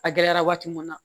A gɛlɛyara waati mun na